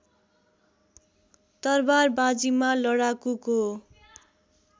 तरवारबाजीमा लडाकुको